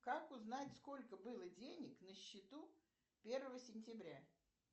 как узнать сколько было денег на счету первого сентября